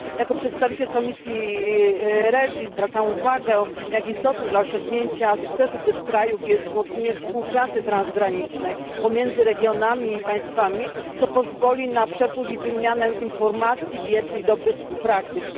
Jako przedstawiciel Komisji REGI zwracam uwagę, jak istotne dla osiągnięcia sukcesu tych krajów jest wzmocnienie współpracy transgranicznej pomiędzy regionami i państwami, co pozwoli na przepływ i wymianę informacji, wiedzy i dobrych praktyk.